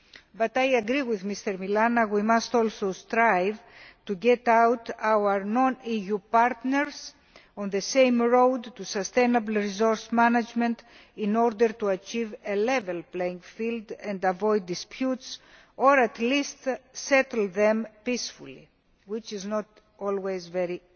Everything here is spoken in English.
But I agree with Mr Milana that we must also strive to get our non EU partners on the same road to sustainably resourced management, in order to achieve a level playing field and avoid disputes, or at least settle them peacefully, which is not always very